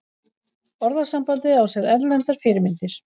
orðasambandið á sér erlendar fyrirmyndir